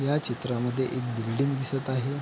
ह्या चित्रामध्ये एक बिल्डिंग दिसत आहे.